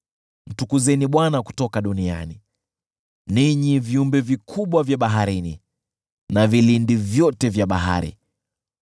Mtukuzeni Bwana kutoka duniani, ninyi viumbe vikubwa vya baharini na vilindi vyote vya bahari,